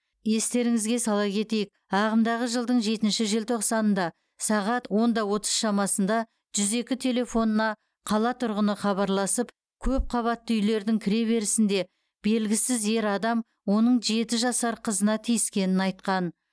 естеріңізге сала кетейік ағымдағы жылдың жетінші желтоқсанында сағат онда отыз шамасында жүз екі телефонына қала тұрғыны хабарласып көпқабатты үйлердің кіреберісінде белгісіз ер адам оның жеті жасар қызына тиіскенін айтқан